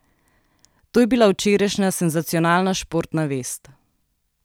To je bila včerajšnja senzacionalna športna vest.